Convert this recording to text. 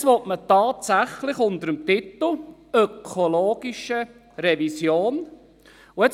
Jetzt will man das tatsächlich unter dem Titel «ökologische Revision» tun.